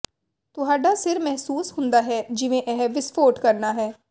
ਤੁਹਾਡਾ ਸਿਰ ਮਹਿਸੂਸ ਹੁੰਦਾ ਹੈ ਜਿਵੇਂ ਇਹ ਵਿਸਫੋਟ ਕਰਨਾ ਹੈ